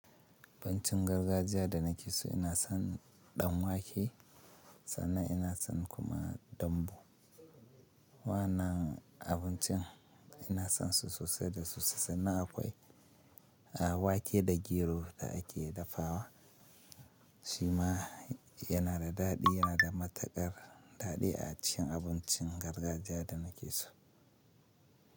Abincin gargajiya da na fi so ina son ɗanwake sannan ina son kuma dambu. Wannan abincin ina son su sosai da su sannan akwai wake da gero da ake dafawa shima yana da daɗi, yana da matukar daɗi a cin abincin gargajiya da na ke so.